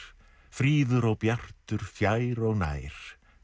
fríður og bjartur fjær og nær